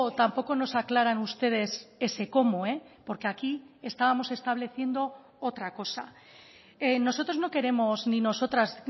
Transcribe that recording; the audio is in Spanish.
tampoco nos aclaran ustedes ese cómo porque aquí estábamos estableciendo otra cosa nosotros no queremos ni nosotras